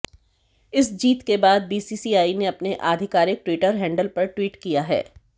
इस जीत के बाद बीसीसीआई ने अपने आधिकारिक ट्विटर हैंडल पर ट्वीट किया है